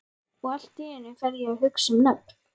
Og allt í einu fer ég að hugsa um nöfn.